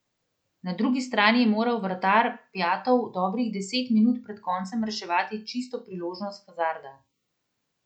Na drugi strani je moral vratar Pjatov dobrih deset minut pred koncem reševati čisto priložnost Hazarda.